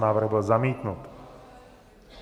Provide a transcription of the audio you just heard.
Návrh byl zamítnut.